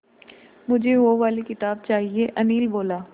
मुझे वो वाली किताब चाहिए अनिल बोला